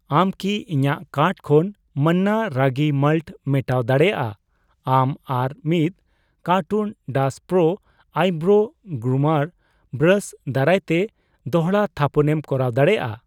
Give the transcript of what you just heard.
ᱟᱢ ᱠᱤ ᱤᱧᱟᱜ ᱠᱟᱨᱴ ᱠᱷᱚᱱ ᱢᱟᱱᱱᱟ ᱨᱟᱜᱤ ᱢᱟᱞᱴ ᱢᱮᱴᱟᱣ ᱫᱟᱲᱮᱭᱟᱜᱼᱟ ᱟᱢ ᱟᱨ ᱢᱤᱛ ᱠᱟᱨᱴᱩᱱ ᱰᱟᱥ ᱯᱨᱳ ᱟᱭᱵᱨᱳ ᱜᱨᱩᱢᱟᱨ ᱵᱨᱟᱥ ᱫᱟᱨᱟᱭᱛᱮ ᱫᱚᱲᱦᱟ ᱛᱷᱟᱯᱚᱱᱮᱢ ᱠᱚᱨᱟᱣ ᱫᱟᱲᱮᱭᱟᱜᱼᱟ ᱾